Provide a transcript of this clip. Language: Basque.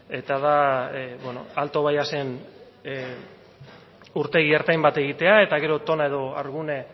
eta da beno alto bayaes urtegi ertain bat egitea eta gero toma edo hargune